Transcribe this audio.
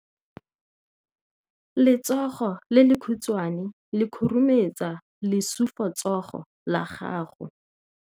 Letsogo le lekhutshwane le khurumetsa lesufutsogo la gago.